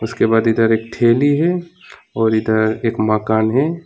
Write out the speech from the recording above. उसके बाद इधर एक थैली है और इधर एक मकान है।